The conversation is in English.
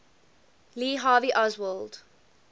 lee harvey oswald